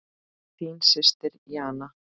Þín systir Jana.